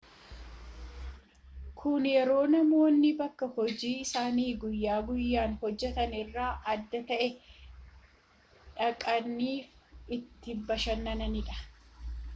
kun yeroo namoonni bakka hojii isaanii guyya guyyaan hojjetan irraa adda ta'e dhaqaniifi itti bashannanidha